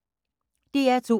DR2